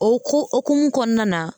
O ko okumu kɔnɔna na